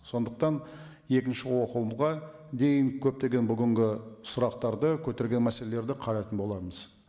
сондықтан екінші оқылымға дейін көптеген бүгінгі сұрақтарды көтерген мәселелерді қарайтын боламыз